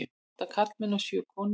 Átta karlmenn og sjö konur.